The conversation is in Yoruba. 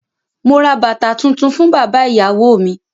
Mo ra bàtà tuntun fún bàbá ìyàwó mi.